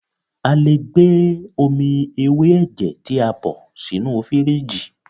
A lè gbé omi ewé ẹ̀jẹ̀ tí a bọ̀ ṣínu fìrígì.